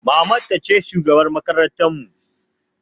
Maman ta ce shugabar makarantar mu